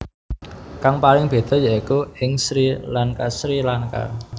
Kang paling béda yaiku ing Sri LankaSri Lanka